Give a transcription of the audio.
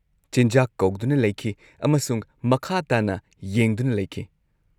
ꯆꯤꯟꯖꯥꯛ ꯀꯧꯗꯨꯅ ꯂꯩꯈꯤ ꯑꯃꯁꯨꯡ ꯃꯈꯥ ꯇꯥꯅ ꯌꯦꯡꯗꯨꯅ ꯂꯩꯈꯤ꯫